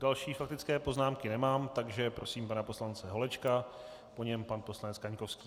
Další faktické poznámky nemám, takže prosím pana poslance Holečka, po něm pan poslanec Kaňkovský.